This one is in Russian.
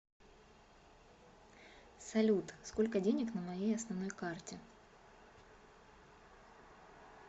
салют сколько денег на моей основной карте